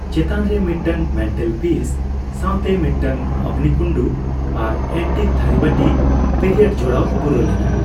ᱪᱮᱛᱟᱱ ᱨᱮ ᱢᱤᱫᱴᱟᱝ ᱢᱮᱱᱴᱮᱞᱯᱤᱥ ᱥᱟᱣ ᱛᱮ ᱢᱤᱫᱴᱟᱝ ᱚᱜᱽᱱᱤᱠᱩᱱᱰᱩ ᱟᱨ ᱮᱱᱴᱤᱠ ᱛᱷᱟᱹᱨᱤᱵᱟᱴᱤ ᱯᱤᱨᱤᱭᱚᱰ ᱡᱚᱲᱟᱣ ᱯᱩᱨᱟᱹᱣ ᱞᱮᱫᱟᱭ ᱾